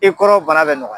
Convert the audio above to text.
I kɔrɔ bana bɛ nɔgɔya